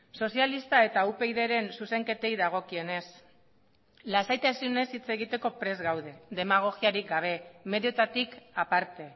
sozialista eta upydren zuzenketei dagokionez lasaitasunez hitz egiteko prest gaude demagogiarik gabe medioetatik aparte